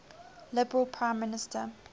liberal prime minister